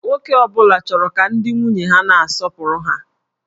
Nwoke ọ bụla chọrọ ka ndị nwunye ha na-asọpụrụ ha